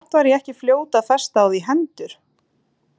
Samt var ég ekki fljót að festa á því hendur.